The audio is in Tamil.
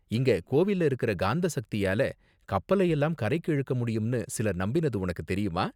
இங்க கோவில்ல இருக்குற காந்த சக்தியால கப்பலையெல்லாம் கரைக்கு இழுக்க முடியும்னு சிலர் நம்பினது உனக்கு தெரியுமா?